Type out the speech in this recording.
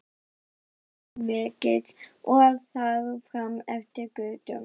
Og svo framvegis og þar fram eftir götum.